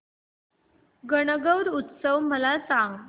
गणगौर उत्सव मला सांग